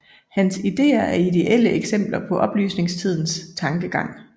Hans idéer er idéelle eksempler på oplysningstidens tankegang